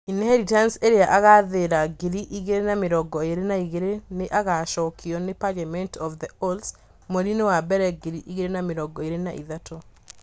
ĩnheritance ' ĩrĩa ĩgaathira ngiri igĩrĩ na mĩrongo ĩrĩ na igĩrĩ nĩ ĩgaacokio nĩ 'Parliament of the Owls ' mweri-inĩ wa mbere ngiri igĩrĩ na mĩrongo ĩrĩ na ithatũ.